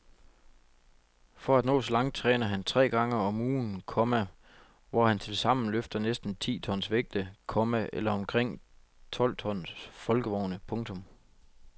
For at nå så langt træner han tre gange om ugen, komma hvor han tilsammen løfter næsten ti tons vægte, komma eller omkring tolv folkevogne. punktum